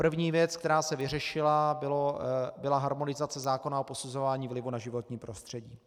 První věc, která se vyřešila, byla harmonizace zákona o posuzování vlivu na životní prostředí.